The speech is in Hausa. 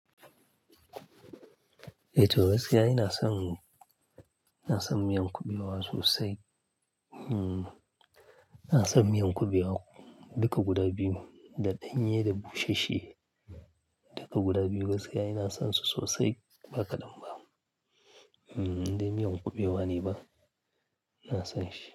Eh to gaskiya ina son, ina son miyan kubewa sosai. Ina son miyan kubewa duka guda biyu, da ɗanye da bushashwe. Duka guda biyu gaskiya ina son su sosai ba kadan ba. Indai miyan kubewa ne ba? Ina son shi.